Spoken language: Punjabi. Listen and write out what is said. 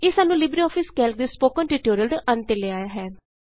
ਇਹ ਸਾਨੂੰ ਲਿਬਰੇਆਫਿਸ ਕੈਲਕ ਦੇ ਸਪੋਕਨ ਟਿਯੂਟੋਰਿਅਲ ਦੇ ਅੰਤ ਤੇ ਲੈ ਆਇਆ ਹੈ